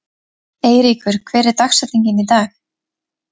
Eyríkur, hver er dagsetningin í dag?